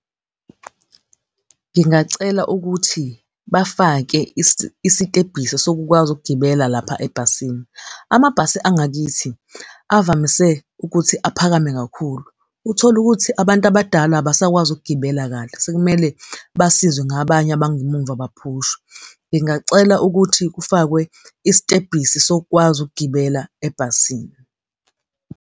Ngingacela ukuthi bafake isistebhisi sokukwazi ukugibela lapha ebhasini. Amabhasi angakithi avamise ukuthi aphakeme kakhulu. Uthole ukuthi abantu abadala abasakwazi ukugibela kahle, sekumele basizwe ngabanye abangemuva, baphushwe. Ngingacela ukuthi kufakwe isitebhisi sokukwazi ukugibela ebhasini.